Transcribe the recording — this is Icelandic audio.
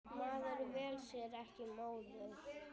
Maður velur sér ekki móður.